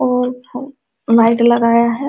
और उधर लाइट लगाया है।